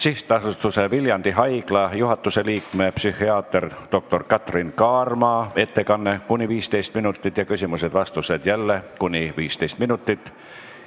SA Viljandi Haigla juhatuse liikme, psühhiaater doktor Katrin Kaarma ettekanne kuni 15 minutit ja küsimused-vastused jälle kuni 15 minutit.